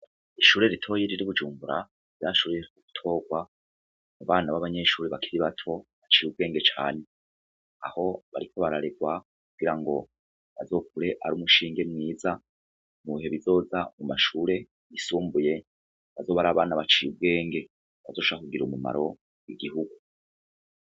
Ishure ritoyi riri ibujumbura ryashoboye gutorwa abana ba banyeshure bakiri bato baciye ubwenge cane aho bariko bararerwa kugira ngo bazokure ari umushinga mwiza mubihe bizoza mu mashure yisumbuye azoba ari abana baciye ubwenge bazoshobora kugirira umumaro igihungu.